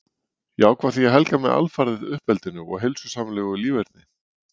Ég ákvað því að helga mig alfarið uppeldinu og heilsusamlegu líferni.